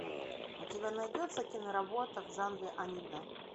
у тебя найдется киноработа в жанре аниме